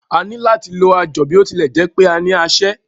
A ní lò láti lo ajọ̀, bí ó tilẹ̀ jẹ́ pé a ní aṣẹ́.